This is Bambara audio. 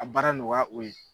A baara nɔgɔya o ye.